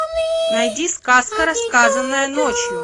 найди сказка рассказанная ночью